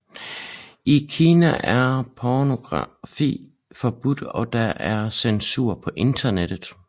I Kina er pornografi forbudt og der er censur på internettet